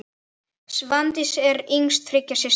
Svandís var yngst þriggja systra.